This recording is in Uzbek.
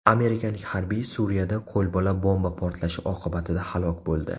Amerikalik harbiy Suriyada qo‘lbola bomba portlashi oqibatida halok bo‘ldi.